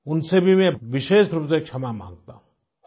उनसे भी मैं विशेष रूप से क्षमा मांगता हूँ